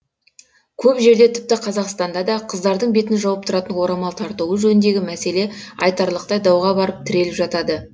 көп жерде тіпті қазақстанда да қыздардың бетін жауып тұратын орамал тартуы жөніндегі мәселе айтарлықтай дауға барып тіреліп жатады